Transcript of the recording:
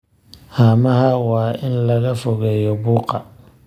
Haamaha waa in laga fogeeyo buuqa.